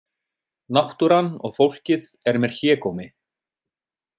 Náttúran og fólkið er mér hégómi.